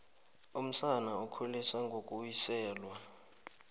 umsana ukhuliswa ngokuwiselwa